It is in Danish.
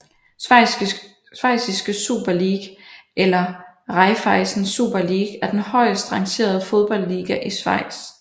Schweiziske Super League eller Raiffeisen Super League er den højest rangerede fodboldliga i Schweiz